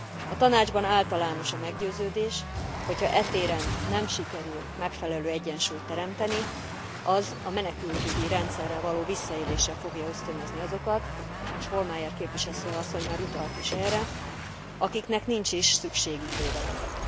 A Tanácsban általános a meggyőződés, hogy ha e téren nem sikerül megfelelő egyensúlyt teremteni, az a menekültügyi rendszerrel való visszaélésre fogja ösztönözni azokat, és Hohlmeier képviselő asszony már utalt is erre, akiknek nincs is szükségük védelemre.